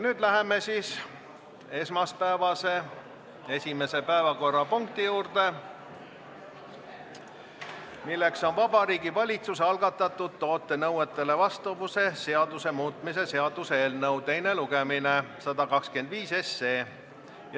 Nüüd läheme esmaspäevase esimese päevakorrapunkti juurde, milleks on Vabariigi Valitsuse algatatud toote nõuetele vastavuse seaduse muutmise seaduse eelnõu 125 teine lugemine.